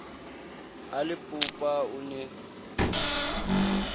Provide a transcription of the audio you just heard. a le popa o ne